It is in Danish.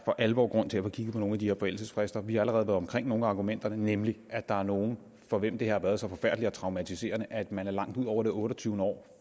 for alvor er grund til at få kigget på nogle af de her forældelsesfrister vi har allerede været omkring nogle af argumenterne nemlig at der er nogle for hvem det har været så forfærdeligt og traumatiserende at man er langt ud over det otteogtyvende år